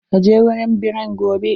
Ka je wurin birran gobe!